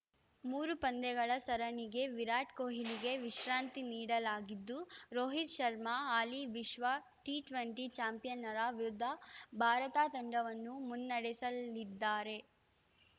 ಮೂರು ಪಂದ್ಯಗಳ ಸರಣಿಗೆ ವಿರಾಟ್‌ ಕೊಹ್ಲಿಗೆ ವಿಶ್ರಾಂತಿ ನೀಡಲಾಗಿದ್ದು ರೋಹಿತ್‌ ಶರ್ಮಾ ಹಾಲಿ ವಿಶ್ವ ಟಿ ಇಪ್ಪತ್ತು ಚಾಂಪಿಯನ್ನರ ವಿರುದ್ಧ ಭಾರತ ತಂಡವನ್ನು ಮುನ್ನಡೆಸಲಿದ್ದಾರೆ